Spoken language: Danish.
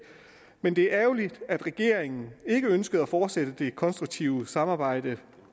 men at det er ærgerligt at regeringen ikke ønsker at fortsætte det konstruktive samarbejde